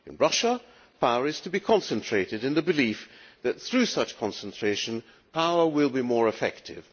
To Russia, power is to be concentrated in the belief that, through such concentration, power will be more effective.